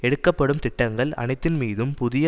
எடுக்கப்படும் திட்டங்கள் அனைத்தின்மீதும் புதிய